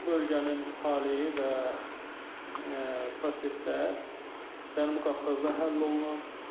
Bu bölgənin taleyi və proseslər Cənubi Qafqazda həll olunur.